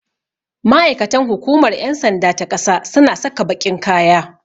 Ma'aikatan hukumar ƴan sanda ta ƙasa suna saka baƙin kaya.